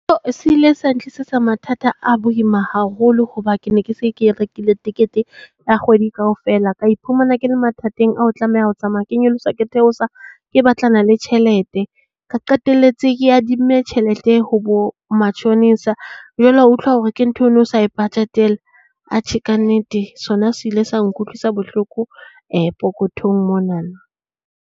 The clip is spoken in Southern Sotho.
Se ile sa ntlisetsa mathata a boima haholo. Hoba ke ne ke se ke rekile tekete ya kgwedi kaofela. Ka iphumana ke le mathateng a ho tlameha ho tsamaya ke nyolosa ke theosa ke batlana le tjhelete. Ka qetelletse ke adimme tjhelete ho bo matjhonisa. Jwale wa utlwa hore ke ntho eo no sa e bajetela. Atjhe ka nnete. Sona se ile sa nkutlwisa bohloko pokothong monana.